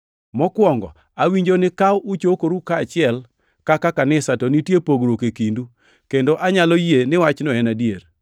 Mokwongo awinjo ni ka uchokoru kaachiel kaka kanisa, to nitie pogruok e kindu, kendo anyalo yie ni wachno en adier.